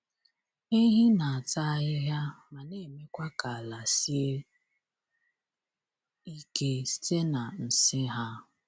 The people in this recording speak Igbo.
Ehi na-ata ahịhịa ma na-emekwa ka ala sie ike site n’nsị ha.